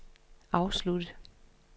afsluttet